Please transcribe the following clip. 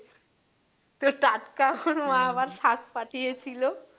তো টাটকা ওর মা আবার শাক পাঠিয়েছিলো।